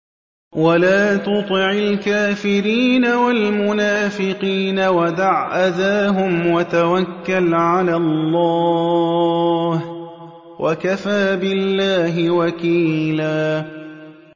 وَلَا تُطِعِ الْكَافِرِينَ وَالْمُنَافِقِينَ وَدَعْ أَذَاهُمْ وَتَوَكَّلْ عَلَى اللَّهِ ۚ وَكَفَىٰ بِاللَّهِ وَكِيلًا